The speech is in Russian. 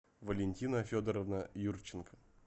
валентина федоровна юрченко